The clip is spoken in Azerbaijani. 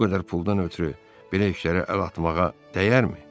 Bu qədər puldan ötrü belə işlərə əl atmağa dəyərmi?